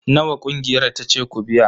Nawa ƙungiyar ta ce ku biya